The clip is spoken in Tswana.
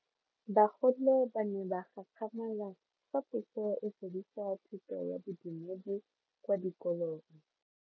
Bagolo ba ne ba gakgamala fa Puso e fedisa thuto ya Bodumedi kwa dikolong.